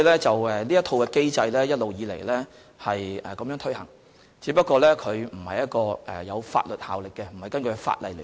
這套機制一直以來均按這原則執行，只是機制並不具有法律效力，並非根據法例來執行。